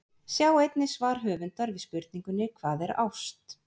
Sjá einnig svar höfundar við spurningunni Hvað er ást?